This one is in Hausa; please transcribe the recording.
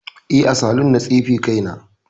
Eh, a saloon na tsefe kaina